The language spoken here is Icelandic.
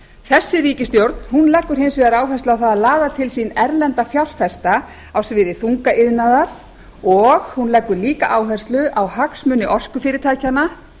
þessi ríkisstjórn leggur hins vegar áherslu á það að laða til sín erlenda fjárfesta á sviði þungaiðnaðar og hún leggur líka áherslu á hagsmuni orkufyrirtækjanna